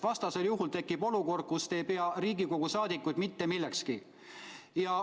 Vastasel juhul tekib olukord, et te ei pea Riigikogu liikmeid mitte millekski.